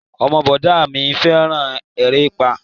Ọmọ bọ̀dá a mi fẹ́ràn erépá